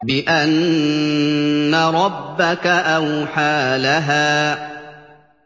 بِأَنَّ رَبَّكَ أَوْحَىٰ لَهَا